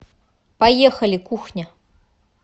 поехали кухня